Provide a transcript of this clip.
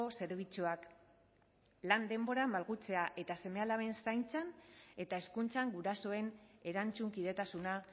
zerbitzuak lan denborak malgutzea eta seme alaben zaintzan eta hezkuntzan gurasoen erantzunkidetasuna